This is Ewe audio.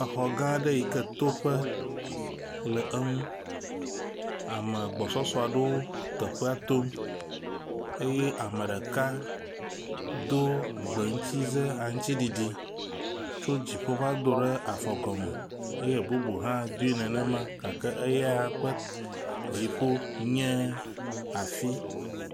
Exɔ gãɖe yike toƒe le eŋu, ame agbɔsɔɖewo teƒea tom eye ameɖeka dó gbeŋutsize aŋtsiɖiɖi tso dziƒo vadoɖe afɔgɔme eye bubu hã dui nenema gake eya ƒe dziƒo nye afi